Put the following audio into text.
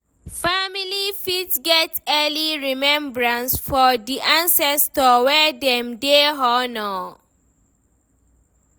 Family fit get yearly remembrance for di ancestor wey dem dey honour